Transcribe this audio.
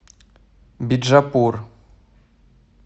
биджапур